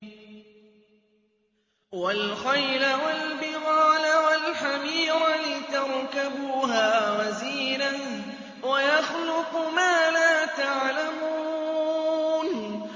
وَالْخَيْلَ وَالْبِغَالَ وَالْحَمِيرَ لِتَرْكَبُوهَا وَزِينَةً ۚ وَيَخْلُقُ مَا لَا تَعْلَمُونَ